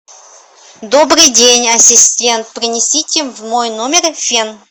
добрый день ассистент принесите в мой номер фен